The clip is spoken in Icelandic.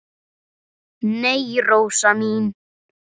Nei, Rósa mín.